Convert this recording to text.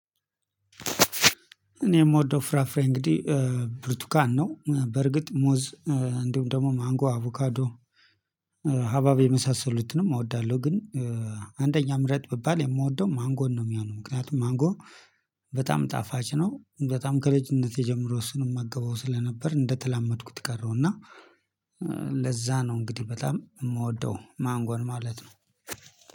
እኔ የምወደው ፍራፍሬ እንግዲህ ብርቱካን ነው። በእርግጥ ሙዝ እንዲሁም ደግሞ ማንጎ አቮካዶ ሀባብ የመሳሰሉትንም እወዳለሁ። ግን አንደኛ ምረጥ ብባል የምወደው ማንጎን ነው። የሚሆነው ምክንያቱም ማንጎ በጣም ጣፋጭ ነው። በጣም ከልጅነቴ ጀምሮ እሱን እመገበው ስለነበር እንደተላመድኩት ቀረሁ። እና ለዛ ነው እንግዲህ በጣም የምወደው ማንጎን ማለት ነው።